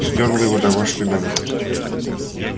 стёрла его домашний номер